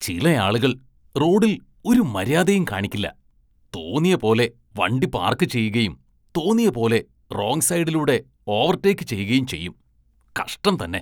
ചിലയാളുകള്‍ റോഡില്‍ ഒരു മര്യാദയും കാണിക്കില്ല, തോന്നിയ പോലെ വണ്ടി പാര്‍ക്ക് ചെയ്യുകയും തോന്നിയ പോലെ റോങ് സൈഡിലൂടെ ഓവര്‍ടേക്ക് ചെയ്യുകയും ചെയ്യും, കഷ്ടം തന്നെ.